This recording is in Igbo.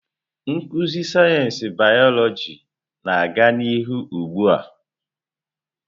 Nkuzi sayensị bịyọlojị na-aga n'ihu ugbu a.